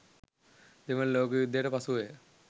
දෙවන ලෝක යුද්ධයට පසුවය.